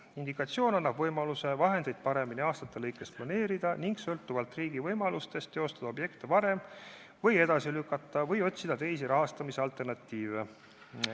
Indikatsioon annab võimaluse vahendeid aastate lõikes paremini planeerida ning sõltuvalt riigi võimalustest teostada projekte varem, neid edasi lükata või otsida teisi rahastamisvõimalusi.